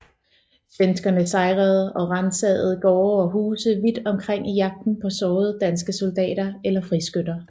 Svenskerne sejrede og ransagede gårde og huse vidt omkring i jagten på sårede danske soldater eller friskytter